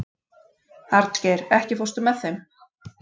Arngeir, ekki fórstu með þeim?